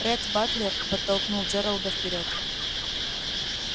ретт батлер подтолкнул джералда вперёд